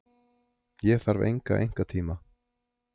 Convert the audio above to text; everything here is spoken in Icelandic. Ég þarf enga einkatíma.